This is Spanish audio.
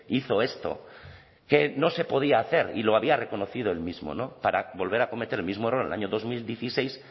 hizo esto que no se podía hacer y lo había reconocido el mismo no para volver a cometer el mismo error el año dos mil dieciséis